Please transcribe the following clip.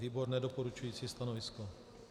Výbor - nedoporučující stanovisko.